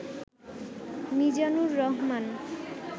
Mizanur Rahman